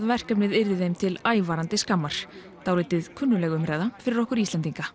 verkefnið yrði þeim til ævarandi skammar dálítið kunnugleg umræða fyrir okkur Íslendinga